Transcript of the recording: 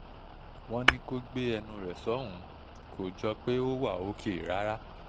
wọ́n ní kó gbé ẹnu rẹ̀ sọ́hùn-ún kó jọ pé ó wá òk rárá